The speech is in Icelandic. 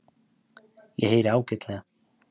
Ég heyri ágætlega.